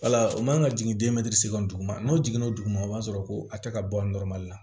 Wala o man kan ka jigin dugu ma n'o jiginna o duguma o b'a sɔrɔ ko a tɛ ka bɔ la